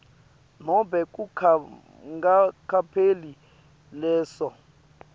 nobe kungakapheli leso